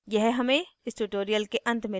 यह हमें इस tutorial के अंत में लाता है